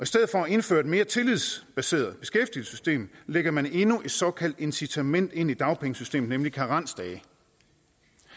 stedet for at indføre et mere tillidsbaseret beskæftigelsessystem lægger man endnu et såkaldt incitament ind i dagpengesystemet nemlig karensdage